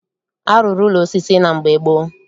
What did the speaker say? A rụrụ ụlọ osisi na mgbe gboo